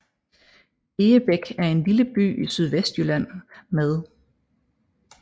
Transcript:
Egebæk er en lille by i Sydvestjylland med